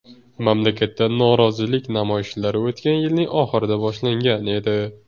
Mamlakatda norozilik namoyishlari o‘tgan yilning oxirida boshlangan edi.